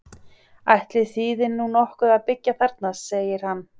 Ætli þýði nú nokkuð að byggja þarna? segir hann.